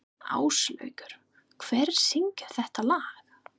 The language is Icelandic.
Áslákur, hver syngur þetta lag?